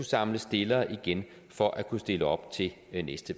samle stillere igen for at kunne stille op til næste